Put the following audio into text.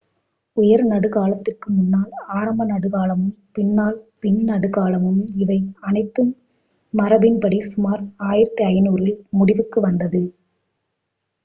உயர் நடுக் காலத்திற்கு முன்னால் ஆரம்ப நடுக் காலமும் பின்னால் பின் நடுக்காலமும் இவை அனைத்தும் மரபின் படி சுமார் 1500ல் முடிவுக்கு வந்தது